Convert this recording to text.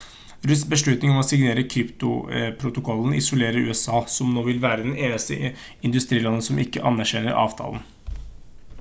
rudds beslutning om å signere kyotoprotokollen isolerer usa som nå vil være det eneste industrilandet som ikke anerkjenner avtalen